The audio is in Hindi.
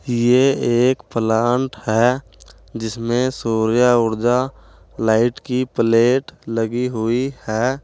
ये एक प्लांट है जिसमें सूर्य ऊर्जा लाइट की प्लेट लगी हुई है।